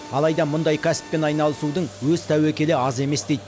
алайда мұндай кәсіппен айналысудың өз тәуекелі аз емес дейді